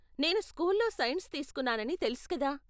నేను స్కూల్లో సైన్స్ తీస్కున్నానని తెలుసు కదా?